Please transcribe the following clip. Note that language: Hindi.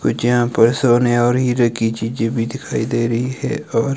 कुछ यहां पर सोने और हीरे की चीजे भी दिखाई दे रही है और--